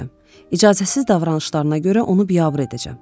İcazəsiz davranışlarına görə onu biabır edəcəm.